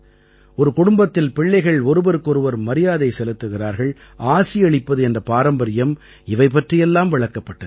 ஒரு குடும்பத்தில் பிள்ளைகள் ஒருவருக்கு ஒருவர் மரியாதை செலுத்துகிறார்கள் ஆசியளிப்பது என்ற பாரம்பரியம் இவை பற்றியெல்லாம் விளக்கப்பட்டது